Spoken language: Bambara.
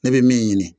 Ne bɛ min ɲini